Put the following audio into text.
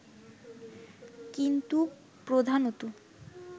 কিন্তু প্রধানত